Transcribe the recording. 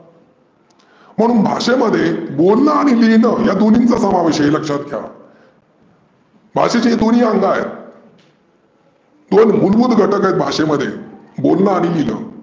म्हणून भाषेमध्ये बोलनं आणि लिहीनं या दोन्हीचं समावेश आहे हे लक्षात घ्या. भाषेचे दोन्ही अंग आहेत. तो एक मुलभूत घटक आहे भाषेमध्ये बोलनं आणि लिहीनं.